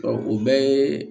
o bɛɛ yee